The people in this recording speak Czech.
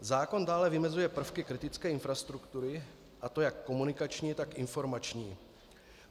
Zákon dále vymezuje prvky kritické infrastruktury, a to jak komunikační, tak informační.